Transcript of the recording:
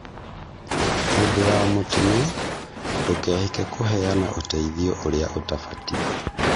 Hĩndĩ ya mũtino, ndũkehike kũheana ũteithio ũrĩa utambatiĩ